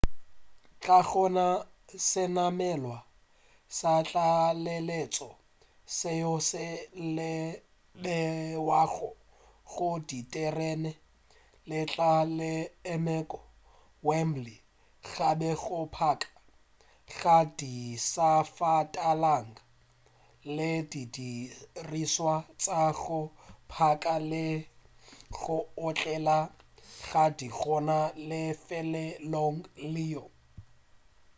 ga go na senamelwa sa tlaleletšo seo se bewago go diterene se tla se emego wembley gape go phaka ga disafatanaga le didirišwa tša go phaka le go otlela ga di gona lefelong leo